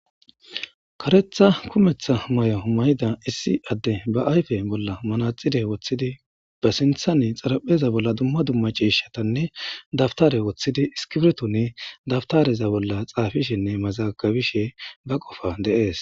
Karetha kumetha may7o mayida issi adde ba ayfe bolla manaxide woththidi ba sinthani xarapheza bolla dumma dumma ciishatanne dabtare woththidi iskibrtoni dabtareza bolla xaafishenne mazakabishe ba qofa deees.